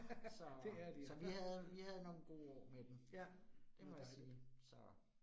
Så så vi havde vi havde nogle gode år med den. Det må jeg sige så